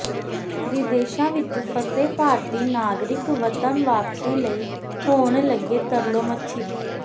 ਵਿਦੇਸ਼ਾ ਵਿਚ ਫਸੇ ਭਾਰਤੀ ਨਾਗਰਿਕ ਵਤਨ ਵਾਪਸੀ ਲਈ ਹੋਣ ਲੱਗੇ ਤਰਲੋ ਮੱਛੀ